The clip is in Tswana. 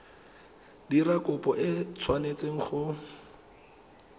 dira kopo e tshwanetse go